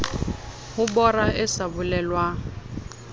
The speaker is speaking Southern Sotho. ho bora e sa bolelwang